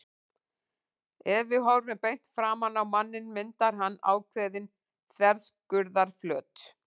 Ef við horfum beint framan á manninn myndar hann ákveðinn þverskurðarflöt.